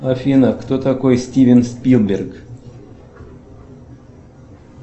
афина кто такой стивен спилберг